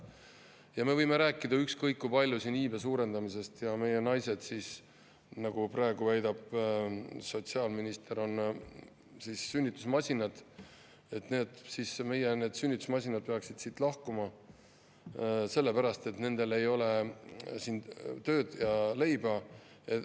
Ja me võime rääkida ükskõik kui palju siin iibe suurendamisest ja meie naised, kes on, nagu praegu väidab sotsiaalminister, sünnitusmasinad, peaksid siit lahkuma, sellepärast et nendel ei ole siin tööd ja leiba.